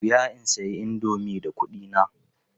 Da wuya in sayi indomi da kuɗina.